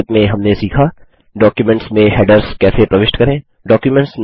संक्षेप में हमने सीखा डॉक्युमेंट्स में हैडर्स कैसे प्रविष्ट करें